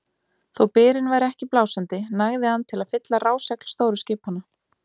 Þó byrinn væri ekki blásandi nægði hann til að fylla rásegl stóru skipanna.